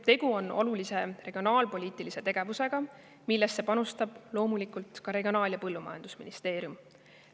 Tegu on olulise regionaalpoliitilise tegevusega, millesse panustab loomulikult ka Regionaal- ja Põllumajandusministeerium.